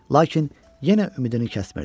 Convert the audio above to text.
Lakin yenə ümidini kəsmirdi.